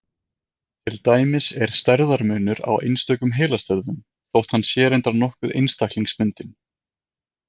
Til dæmis er stærðarmunur á einstökum heilastöðvum, þótt hann sé reyndar nokkuð einstaklingsbundinn.